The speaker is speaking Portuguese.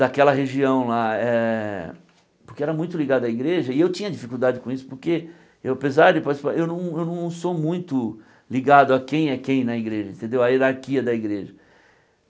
daquela região lá eh, porque era muito ligado à igreja, e eu tinha dificuldade com isso, porque, eu apesar de... eu não sou muito ligado a quem é quem na igreja entendeu, a hierarquia da igreja.